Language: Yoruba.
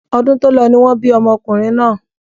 Ọdún tó lọ ni wọ́n bí ọmọkùnrin náà.